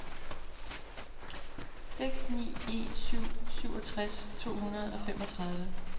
seks ni en syv syvogtres to hundrede og femogtredive